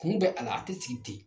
Kun bɛ a la, a ti ci ten